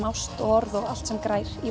ást og orð allt sem grær í